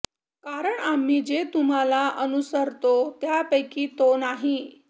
कारण आम्ही जे तुम्हांला अनुसरतो त्यापैकी तो नाही